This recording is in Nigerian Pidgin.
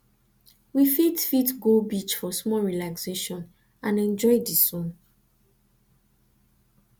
we fit fit go beach for small relaxation and enjoy the sun